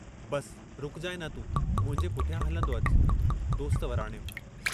बसि रुकजांइ न तूं मुंहिंजे पुठियां हलंदो अचु दोस्त वराणियो।